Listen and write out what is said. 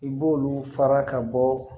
I b'olu fara ka bɔ